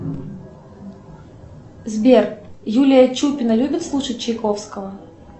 сбер юлия чупина любит слушать чайковского